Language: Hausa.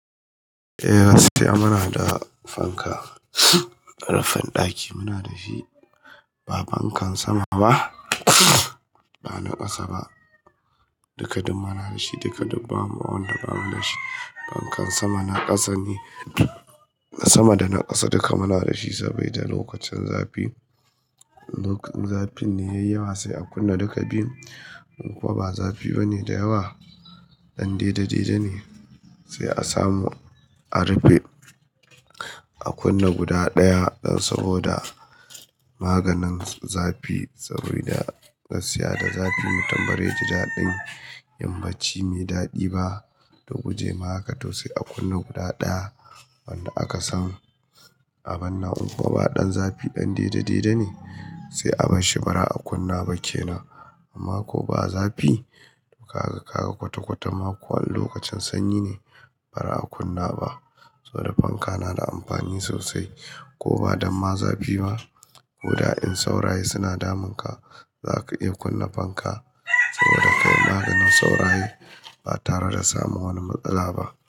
Eh gaskiya muna da fanka, rufin ɗaki muna da shi, ba fankan sama ba, ba na ƙasa ba. Duka dum mana da shi, duka dum ba mu wanda ba mu da shi. Fankan sama da na ƙasa ne, sama da na ƙasa duka mana da shi saboda lokacin zafi. Lokacin zafi ne yayi yawa sai a kunna duka biyun. In kuma ba zafi bane da yawa, ɗan daidai-daidai ne sai a samu a rufe, a kunna guda ɗaya saboda maganin zafi tsauraya. Gaskiya da zafi mutam baze ji daɗin, yinbacci me daɗi ba. Don guje ma haka to sai a kunna guda ɗaya wanda aka samu. A bana in kuwa ba ɗan zafi, ɗan daidai-daidai ne sai a barshi bara a kunna ba kenan. Amma ko ba zafi, kaga-kaga kwata-kwata ma ko a lokacin sanyi ne bara a kunna ba. Saboda fanka na da amfani sosai. Ko ba damma zafi ba, koda in sauraye suna damun ka, zaka iya kunna fanka saboda kayi maganin sauraye ba tare da samu wani matsala ba.